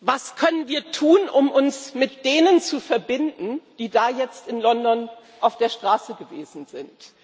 Was können wir tun, um uns mit denen zu verbinden, die da jetzt in London auf der Straße gewesen sind?